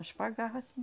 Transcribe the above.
Nós pagava, sim.